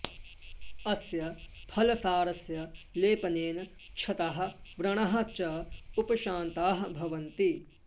अस्य फलसारस्य लेपनेन क्षताः व्रणाः च उपशान्ताः भवन्ति